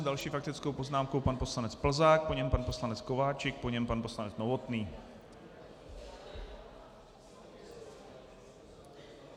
S další faktickou poznámkou pan poslanec Plzák, po něm pan poslanec Kováčik, po něm pan poslanec Novotný.